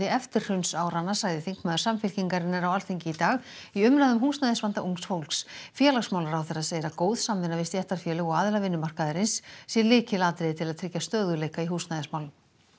eftirhrunsáranna sagði þingmaður Samfylkingarinnar á Alþingi í dag í umræðu um húsnæðisvanda ungs fólks félagsmálaráðherra segir að góð samvinna við stéttarfélög og aðila vinnumarkaðarins sé lykilatriði til að tryggja stöðugleika í húsnæðismálum